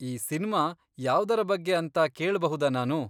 ಈ ಸಿನ್ಮಾ ಯಾವ್ದರ ಬಗ್ಗೆ ಅಂತ ಕೇಳ್ಬಹುದಾ ನಾನು?